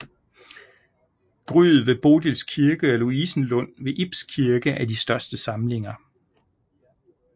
Gryet ved Bodils Kirke og Louisenlund ved Ibs Kirke er de største samlinger